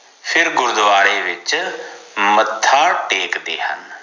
ਫਿਰ ਗੁਰਦਵਾਰੇ ਵਿਚ ਮੱਥਾ ਟੇਕਦੇ ਹਨ